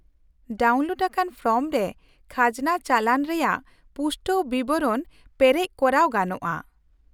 -Download ᱟᱠᱟᱱ form ᱨᱮ ᱠᱷᱟᱡᱽᱱᱟ ᱪᱟᱞᱟᱱ ᱨᱮᱭᱟᱜ ᱯᱩᱥᱴᱟᱹᱣ ᱵᱤᱵᱚᱨᱚᱱ ᱯᱮᱨᱮᱡ ᱠᱚᱨᱟᱣ ᱜᱟᱱᱚᱜᱼᱟ ᱾